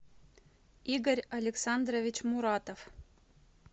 игорь александрович муратов